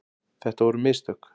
Þetta voru mistök.